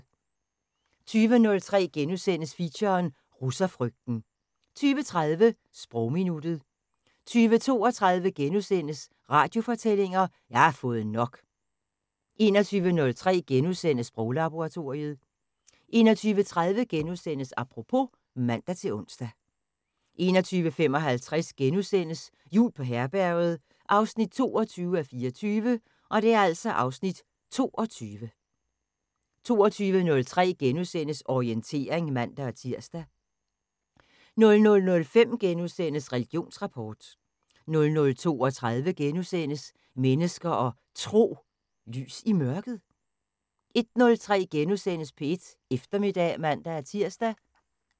20:03: Feature: Russerfrygten * 20:30: Sprogminuttet 20:32: Radiofortællinger: Jeg har fået nok! * 21:03: Sproglaboratoriet * 21:30: Apropos *(man-ons) 21:55: Jul på Herberget 22:24 (Afs. 22)* 22:03: Orientering *(man-tir) 00:05: Religionsrapport * 00:32: Mennesker og Tro: Lys i mørket? * 01:03: P1 Eftermiddag *(man-tir)